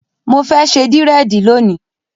Mo fẹ́ ṣe dírẹ̀dì lónìí.